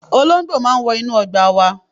Olóńgbò máa ń wọ inú ọgbà wa.